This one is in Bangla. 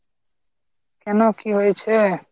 কেনো কী হয়েছে?